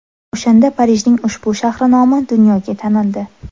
O‘shanda Parijning ushbu shahri nomi dunyoga tanildi.